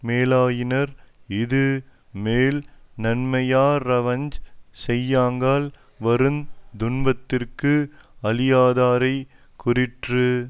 மேலாயினர் இது மேல் நன்மையாற் றவஞ் செய்யுங்கால் வருந் துன்பத்திற்கு அழியாதாரைக் கூறிற்று